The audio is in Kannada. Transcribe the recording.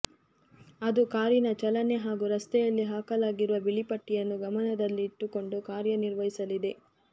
ಅದು ಕಾರಿನ ಚಲನೆ ಹಾಗೂ ರಸ್ತೆಯಲ್ಲಿ ಹಾಕಲಾಗಿರುವ ಬಿಳಿ ಪಟ್ಟಿಯನ್ನು ಗಮನದಲ್ಲಿಟ್ಟುಕೊಂಡು ಕಾರ್ಯ ನಿರ್ವಹಿಸಲಿದೆ